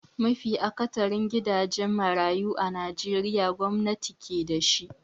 Mafi akatharin gidajen marayu a najeriya gwamnati ke da shi.